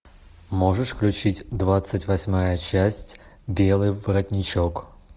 можешь включить двадцать восьмая часть белый воротничок